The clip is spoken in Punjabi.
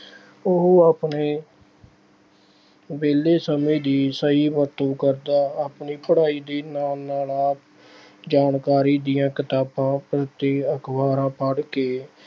ਉਹ ਆਪਣੇ ਵਿਹਲੇ ਸਮੇਂ ਦੀ ਸਹੀ ਵਰਤੋਂ ਕਰਦਾ ਹੈ। ਆਪਣੀ ਪੜ੍ਹਾਈ ਦੇ ਨਾਲ ਨਾਲ ਆਪ ਜਾਣਕਾਰੀ ਦੀਆਂ ਕਿਤਾਬਾਂ ਪ੍ਰਤੀ ਅਖਬਾਰਾਂ ਪੜ੍ਹ ਕੇ